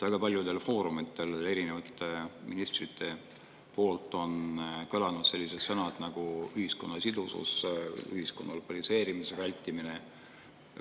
Väga paljudel foorumitel on erinevate ministrite suust kõlanud sellised sõnad nagu ühiskonna sidusus, ühiskonna polariseerimise vältimine.